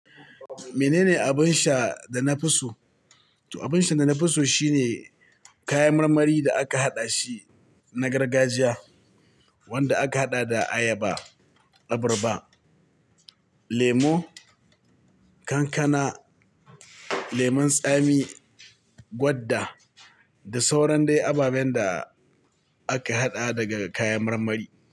Mene ne abin sha da na fi so? To abin sha da na fi so shine kayan marmari da aka haɗa shi na gargajiya wanda aka haɗa da ayaba, abarba, lemo, kankana, lemon tsami, gwanda da sauran dai ababen da aka haɗa daga kayan marmari.